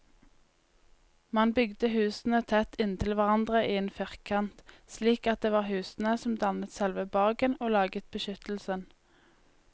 Man bygde husene tett inntil hverandre i en firkant, slik at det var husene som dannet selve borgen og laget beskyttelsen.